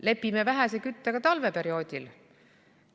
Lepime vähese küttega talveperioodil?